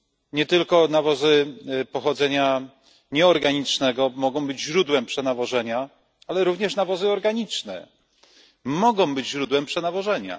Nie tylko nawozy pochodzenia nieorganicznego mogą być źródłem przenawożenia, ale również nawozy organiczne mogą być źródłem przenawożenia.